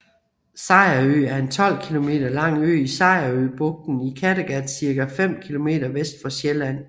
Sejerø er en 12 kilometer lang ø i Sejerøbugten i Kattegat cirka 5 kilometer vest for Sjælland